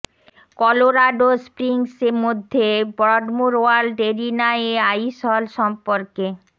Colorado Springs মধ্যে Broadmoor World Arena এ Ice Hall সম্পর্কে